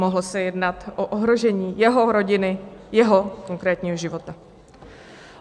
Mohlo se jednat o ohrožení jeho rodiny, jeho konkrétního života.